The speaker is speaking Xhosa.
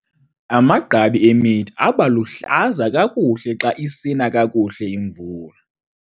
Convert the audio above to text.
Amagqabi emithi aba luhlaza kakuhle xa isina kakuhle imvula.